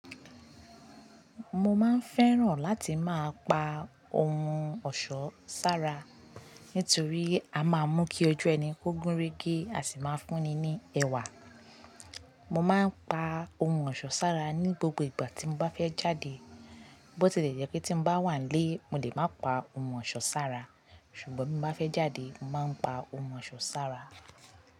Mo máa ń fẹ́ràn láti máa pa ohun ọ̀ṣọ́ sára, nítorí a máa mú kí ojú ẹni ó gúnrégé, a sì máa fúnni ní ẹwà. Mo máa ń pa ohun ọ̀ṣọ́ sára ní gbogbo ìgbà tí mo bá fẹ́ jáde. Bótí lè jẹ́ pé tí mo bá wà nílé, mo lè má pa ohun ọ̀ṣọ́ sára. Ṣùgbọ́n bí mo bá fẹ́ jáde, mo máa ń pa ohun ọ̀ṣọ́ sára.